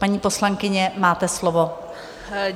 Paní poslankyně, máte slovo.